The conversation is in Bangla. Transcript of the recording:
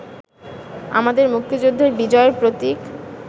আমাদের মুক্তিযুদ্ধের বিজয়ের প্রতীক